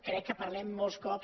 crec que parlem molts cops